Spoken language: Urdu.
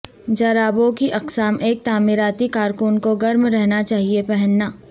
جرابوں کی اقسام ایک تعمیراتی کارکن کو گرم رہنا چاہئے پہننا